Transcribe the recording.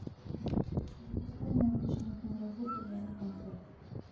запускай необычную киноработу в жанре концерт